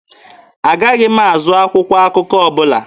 Agaghị m azụ akwụkwọ akụkọ ọbụla.